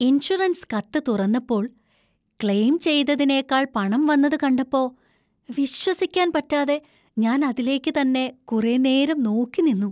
Insurance കത്ത് തുറന്നപ്പോൾ, claim ചെയ്തതിനേക്കാൾ പണം വന്നത് കണ്ടപ്പോ വിശ്വസിക്കാന്‍ പറ്റാതെ ഞാന്‍ അതിലേക്ക് തന്നെ കുറേ നേരം നോക്കിനിന്നു.